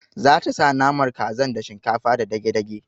Zata sa naman kazar da shinkafa da dage dage